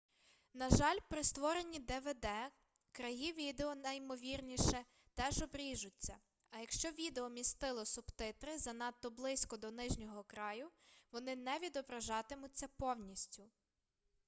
на жаль при створенні двд краї відео найімовірніше теж обріжуться а якщо відео містило субтитри занадто близько до нижнього краю вони не відображатимуться повністю